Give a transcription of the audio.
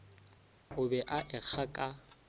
o be a ekga ka